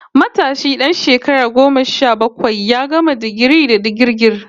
Matashi dan shekara goma sha bakwai ya gama digirin digirgir